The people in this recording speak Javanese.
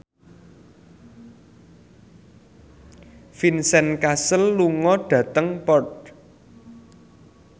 Vincent Cassel lunga dhateng Perth